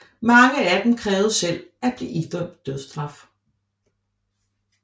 Mange af dem krævede selv at blive idømt dødsstraf